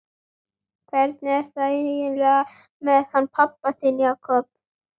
Hvernig er það eiginlega með hann pabba þinn, Jakob?